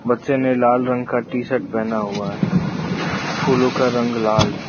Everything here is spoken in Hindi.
बच्चे ने लाल रंग का टी शर्ट पहना हुआ है फूलों का रंग लाल है।